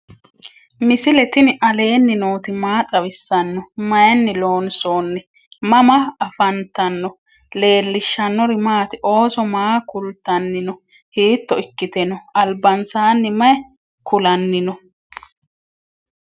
misile tini alenni nooti maati? maa xawissanno? Maayinni loonisoonni? mama affanttanno? leelishanori maati? ooso maa kultani no?hito ikkite no?albansani mayi kulani no?